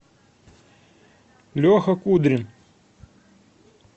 леха кудрин